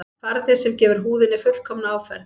Farði sem gefur húðinni fullkomna áferð